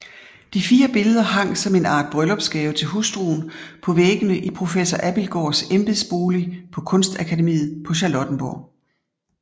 De fire billeder hang som en art bryllupsgave til hustruen på væggene i professor Abildgaards embedsbolig på Kunstakademiet på Charlottenborg